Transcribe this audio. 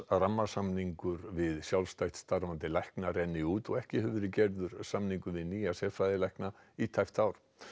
rammasamningur við sjálfstætt starfandi lækna rennur út og ekki hefur verið gerður samningur við nýja sérfræðilækna í tæpt ár